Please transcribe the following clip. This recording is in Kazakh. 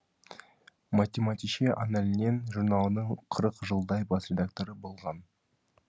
математише аннален журналының қырық жылдай бас редакторы болған